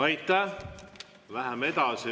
Aitäh!